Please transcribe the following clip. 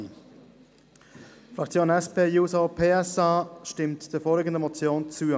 Die Fraktion SP-JUSO-PSA stimmt der vorliegenden Motion zu.